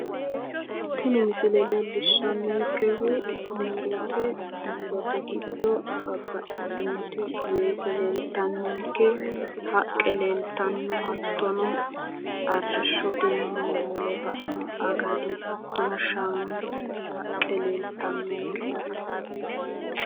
Tini misile leellishshannonkehu murote. Murote giddo babbaxxitinoti weese leeltannonke. Haqqe leeltannonke. Arrishshoteyi moole baino agadi hattono shaanu haqqe leeltannonkecyaate.